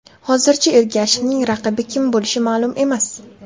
Hozircha Ergashevning raqibi kim bo‘lishi ma’lum emas.